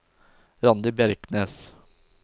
Randi Bjerknes